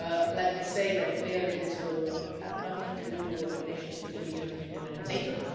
Let me say very clearly this will have nothing to do with relations between the European Union and NATO